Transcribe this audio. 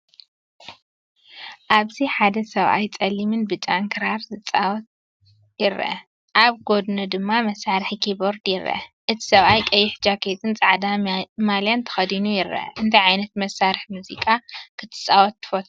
ኣብዚ ሓደ ሰብኣይ ጸሊምን ብጫን ክራር ክጻወት ይርአ። ኣብ ጎድኑ ድማ መሳርሒ ኪቦርድ ይርአ። እቲ ሰብኣይ ቀይሕ ጃኬትን ጻዕዳ ማልያን ተኸዲኑ ይርአ። እንታይ ዓይነት መሳርሒ ሙዚቃ ክትጻወት ትፈቱ?